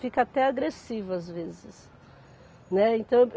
Fica até agressivo, às vezes, né, então